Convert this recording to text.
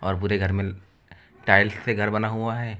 और पूरे घर में टाइल्स से घर बना हुआ है।